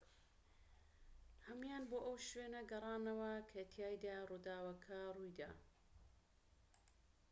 هەموویان بۆ ئەو شوێنە گەڕانەوە کە تیایدا ڕووداوەکە ڕوویدا